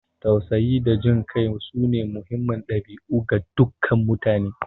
Tausayi da jin kai sune muhimman dabi'u ga dukkan mutane.